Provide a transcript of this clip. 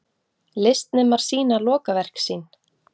Listnemar sýna lokaverk sín